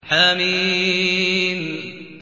حم